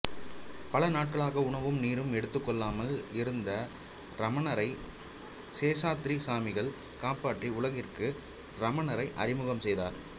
பல நாட்களாக உணவும் நீரும் எடுத்துக் கொள்ளாமல் இருந்த ரமணரை சேசாத்திரி சாமிகள் காப்பாற்றி உலகிற்கு ரமணரை அறிமுகம் செய்தார்